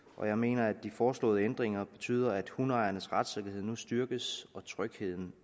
og jeg mener at de foreslåede ændringer betyder at hundeejernes retssikkerhed nu styrkes og trygheden